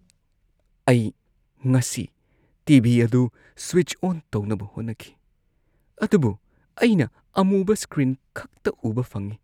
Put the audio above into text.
ꯑꯩ ꯉꯁꯤ T. V. ꯑꯗꯨ ꯁ꯭ꯋꯤꯆ ꯑꯣꯟ ꯇꯧꯅꯕ ꯍꯣꯠꯅꯈꯤ ꯑꯗꯨꯕꯨ ꯑꯩꯅ ꯑꯃꯨꯕ ꯁ꯭ꯀ꯭ꯔꯤꯟ ꯈꯛꯇ ꯎꯕ ꯐꯪꯉꯤ꯫